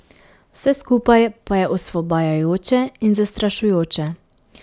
Vse skupaj pa je osvobajajoče in zastrašujoče.